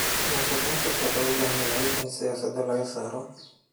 Musuqmaasuqa wuxuu u baahan yahay in siyaasadda laga saaro.